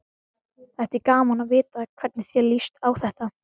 Þætti gaman að vita hvernig þér líst á þetta?